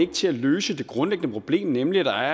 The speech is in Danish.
til at løse det grundlæggende problem nemlig at der